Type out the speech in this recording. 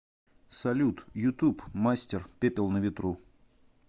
салют ютуб мастер пепел на ветру